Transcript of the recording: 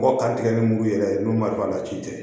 Bɔ ka tigɛ ni mugu yɛrɛ ye n'o mariwari la ci tɛ